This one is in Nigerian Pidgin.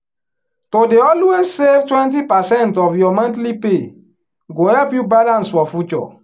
to dey always save twenty percent of your monthly pay go help you balance for future.